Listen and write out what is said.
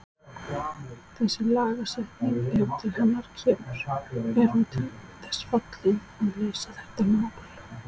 Þessi lagasetning ef til hennar kemur, er hún til þess fallin að leysa þetta mál?